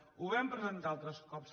ho vam presentar altres cops